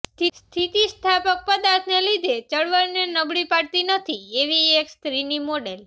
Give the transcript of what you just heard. સ્થિતિસ્થાપક પદાર્થને લીધે ચળવળને નબળી પાડતી નથી તેવી એક સ્ત્રીની મોડેલ